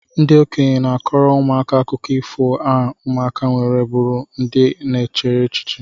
Ndi okenye na-akọrọ ụmụaka akụkọ ifo a ụmụka nwere bụrụ ndị na-eche echiche